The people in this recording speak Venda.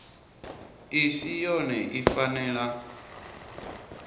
i si yone i fanela